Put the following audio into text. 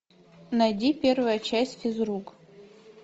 найди первая часть физрук